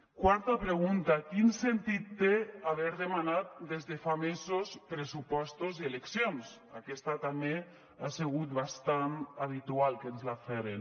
quarta pregunta quin sentit té haver demanat des de fa mesos pressupostos i eleccions aquesta també ha sigut bastant habitual que ens la feren